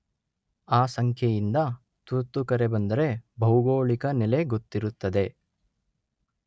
ಆ ಸಂಖ್ಯೆಯಿಂದ ತುರ್ತು ಕರೆ ಬಂದರೆ ಭೌಗೋಳಿಕ ನೆಲೆ ಗೊತ್ತಿರುತ್ತದೆ.